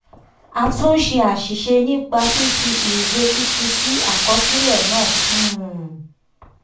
a túnṣe àṣìṣe nípa fífi iye tuntun sí àkọsílẹ náà. um